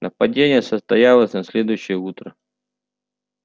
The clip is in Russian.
нападение состоялось на следующее утро